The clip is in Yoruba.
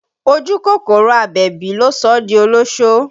Ojú kòkòrò Àbẹ̀bí ló sọ ọ́ di olósó